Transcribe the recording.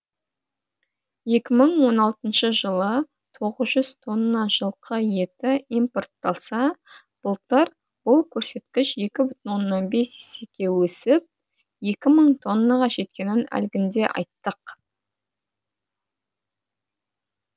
екі мың он алтыншы жылы тоғыз жүз тонна жылқы еті импортталса былтыр бұл көрсеткіш екі бүтін оннан бес есеге өсіп екі мың тоннаға жеткенін әлгінде айттық